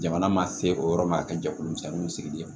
Jamana ma se o yɔrɔ ma a ka jɛkulumisɛnninw sigi